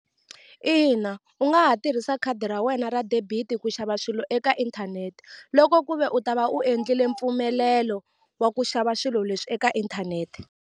Ina u nga ha tirhisa khadi ra wena ra debit ku xava swilo eka inthanete loko ku ve u ta va u endlile mpfumelelo wa ku xava swilo leswi eka inthanete.